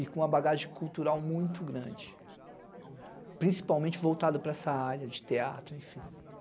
e com uma bagagem cultural muito grande, principalmente voltada para essa área de teatro, efim.